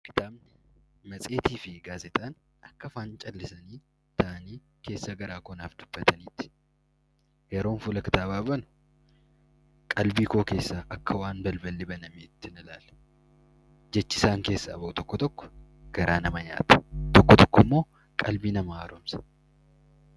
Kitaaba, matseetii fi gaazexaan akka waan keessa garaa koo naaf dubbataniiti. Yeroon fuula kitaabaa banu qalbii koo keessaa akka waan balballi banameetti jechi isaan keessaa bahu tokko tokko garaa nama nyaata. Tokko tokko immoo qalbii nama haaromsa.